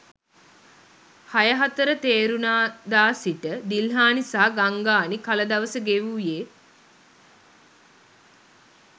හයහතර තේරුණදා සිට දිල්හානි සහ ගංගානි කලදවස ගෙවුයේ